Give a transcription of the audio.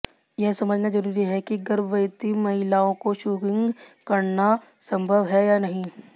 यह समझना जरूरी है कि गर्भवती महिलाओं को शूगिंग करना संभव है या नहीं